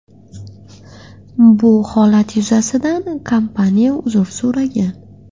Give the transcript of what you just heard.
Bu holat yuzasidan kompaniya uzr so‘ragan.